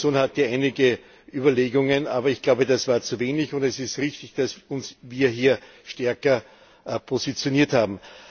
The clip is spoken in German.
Auch in der Kommission gab es einige Überlegungen, aber ich glaube, das war zu wenig, und es ist richtig, dass wir uns hier stärker positioniert haben.